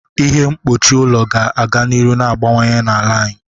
Ihe mkpuchi ụlọ ga-aga n'ihu na-agbanwe n'ala anyị.